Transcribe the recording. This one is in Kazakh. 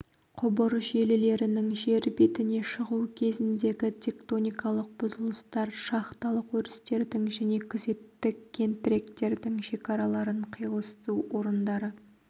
құбыр желілерінің жер бетіне шығу кезіндегі тектоникалық бұзылыстар шахталық өрістердің және күзеттік кентіректердің шекараларының қиылысу орындары